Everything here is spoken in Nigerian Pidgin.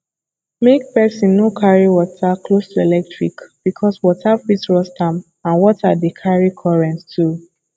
make person no carry water close to electric because water fit rust am and water de carry current too